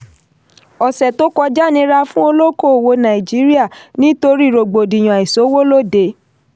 ọ̀ṣẹ̀ tó kọjá nira fún olóòkòwò nàìjíríà nítorí rògbòdìyàn àìsówólóde.